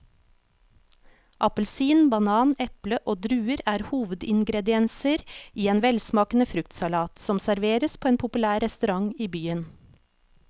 Appelsin, banan, eple og druer er hovedingredienser i en velsmakende fruktsalat som serveres på en populær restaurant i byen.